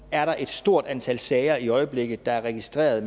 er der et stort antal sager i øjeblikket der er registreret